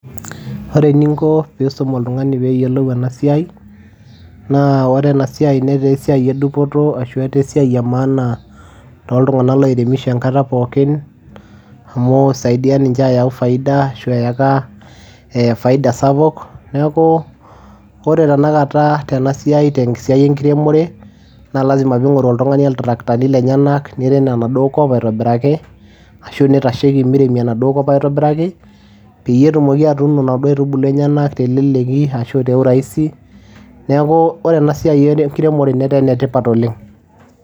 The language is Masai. Ore eninko piisum oltung'ani peeyiolu ena siai naa ore ena siai netaa esiai e dupoto ashu etaa esiai e maana toltung'anak loiremisho enkata pookin amu isaidia ninche ayau faida ashu eyaka ee faida sapuk. Neeku ore tenakata tena siai te siai enkiremore naa lazima piing'oru oltung'ani oltraktani niirem enduo kop aitobiraki ashu nitasheki miremi enaduo kop aitobiraki peyie etumoki atuuno inaduo aitubulu enyenak teleleki ashu te urahisi. Neeku ore ena siai enkiremore netaa ene tipat oleng'.